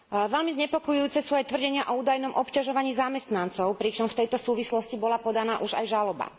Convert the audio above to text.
Veľmi znepokojujúce sú aj tvrdenia o údajnom obťažovaní zamestnancov, pričom v tejto súvislosti bola podaná už aj žaloba.